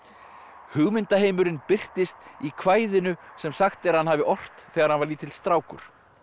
hugmyndaheimurinn birtist í kvæðinu sem sagt er að hann hafi ort þegar hann var lítill strákur